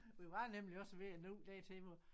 Vi var nemlig også ved at nå dertil hvor